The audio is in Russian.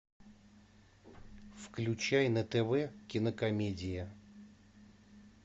включай на тв кинокомедия